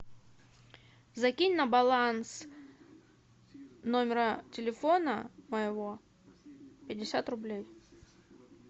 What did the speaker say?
закинь на баланс номера телефона моего пятьдесят рублей